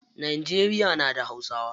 Najeriya na da hausawa.